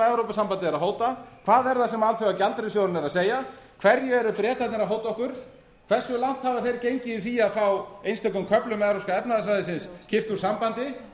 evrópusambandið er að hóta hvað er það sem alþjóðagjaldeyrissjóðurinn er að segja hverju eru bretarnir að hóta okkur hversu langt hafa þeir gengið í því að fá einstökum köflum evrópska efnahagssvæðisins kippt úr sambandi